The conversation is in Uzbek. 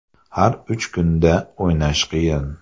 Har uch kunda o‘ynash qiyin.